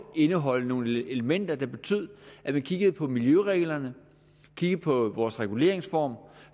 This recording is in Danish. indeholde nogle elementer der betød at man kiggede på miljøreglerne kiggede på vores reguleringsform